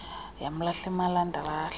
yamlahla emalanda lahla